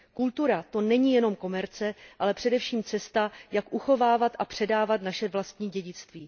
Kultura, to není jenom komerce, ale především cesta, jak uchovávat a předávat naše vlastní dědictví.